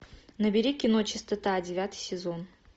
набери кино чистота девятый сезон